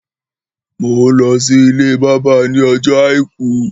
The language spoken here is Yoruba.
Mò mà n lọ sí ilé bábà ní ojoojọ́ àìkú